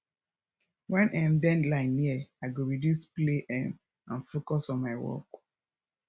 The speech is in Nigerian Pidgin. when um deadline near i go reduce play um and focus on my work